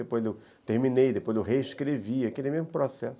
Depois eu terminei, depois eu reescrevi, aquele mesmo processo.